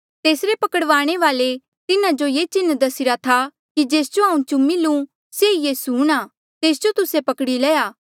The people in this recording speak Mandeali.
तेसरे पकड़वाणे वाल्ऐ तिन्हा जो ये चिन्ह दस्सीरा था कि जेस जो हांऊँ चूमी लू से ई यीसू हूंणां तेस जो तुस्से पकड़ी लया